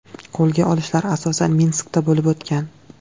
Qo‘lga olishlar asosan Minskda bo‘lib o‘tgan.